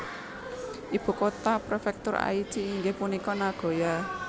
Ibu kota Prefektur Aichi inggih punika Nagoya